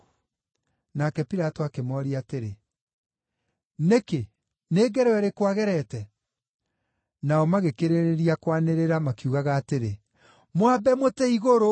Nake Pilato akĩmooria atĩrĩ, “Nĩkĩ? Nĩ ngero ĩrĩkũ agerete?” Nao magĩkĩrĩrĩria kwanĩrĩra, makiugaga atĩrĩ, “Mwambe mũtĩ-igũrũ!”